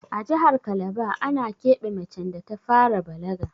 A jahar kalaba ana keɓe macen da ta fara balaga